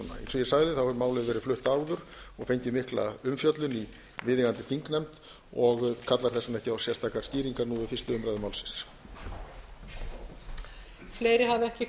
ég sagði hefur málið verið flutt áður og fengið mikla umfjöllun í viðeigandi þingnefnd og kallar þess vegna ekki á sérstakar skýringar nú við fyrstu umræðu málsins